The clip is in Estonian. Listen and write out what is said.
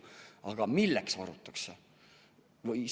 Aga milleks varutakse?